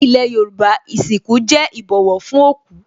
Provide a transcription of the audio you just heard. Ní ilé Yorùbá, ìsìnkú jẹ́ ìbọ̀wọ̀ fún òkú